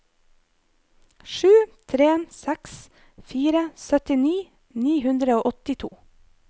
sju tre seks fire syttini ni hundre og åttito